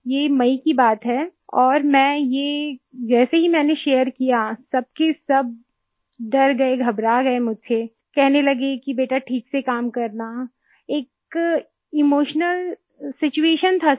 ये मई की बात है और मैं ये जैसे ही मैंने शेयर किया सब के सब डर गए घबरा गए मुझसे कहने लगे कि बेटा ठीक से काम करना एक इमोशनल सिचुएशन था सर